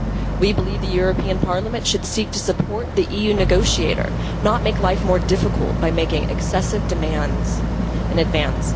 We believe the European Parliament should seek to support the EU negotiator not make life more difficult by making excessive demands in advance.